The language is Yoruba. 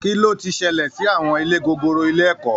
Kí ló ti ṣẹlẹ̀ sí àwọn ilé gogoro ilé ẹ̀kọ́?